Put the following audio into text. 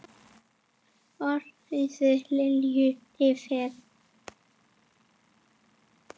Orðstír Lilju lifir.